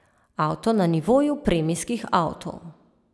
Avto na nivoju premijskih avtov.